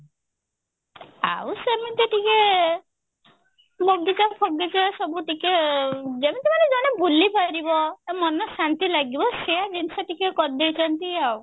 ଆଉ ସେମିତି ଟିକେ ବଗିଚା ଫଗିଚା ସବୁ ଟିକେ ଯେମତି ମାନେ ଜଣେ ବୁଲିପାରିବ ତା ମନ ଶାନ୍ତି ଲାଗିବ ସେ ଜିନିଷ ଟିକେ କରି ଦେଇଛନ୍ତି ଆଉ